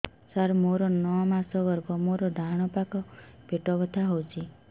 ସାର ମୋର ନଅ ମାସ ଗର୍ଭ ମୋର ଡାହାଣ ପାଖ ପେଟ ବଥା ହେଉଛି